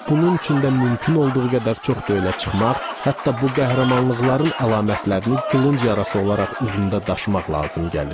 Bunun üçün də mümkün olduğu qədər çoxdu elə çıxmaq, hətta bu qəhrəmanlıqların əlamətlərini qılınc yarası olaraq üzündə daşımaq lazım gəlirdi.